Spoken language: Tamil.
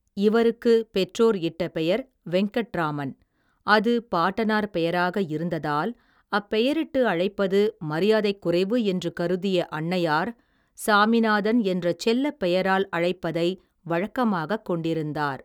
இவருக்கு பெற்றோர் இட்ட பெயர் வெங்கட்ராமன் அது பாட்டனார் பெயராக இருந்ததால் அப்பெயரிட்டு அழைப்பது மரியாதைக் குறைவு என்று கருதிய அன்னையார் சாமிநாதன் என்ற செல்லப் பெயரால் அழைப்பதை வழக்கமாகக் கொண்டிருந்தார்.